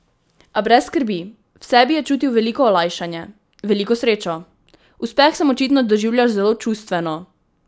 A brez skrbi, v sebi je čutil veliko olajšanje, veliko srečo: "Uspeh sem očitno doživljal zelo čustveno.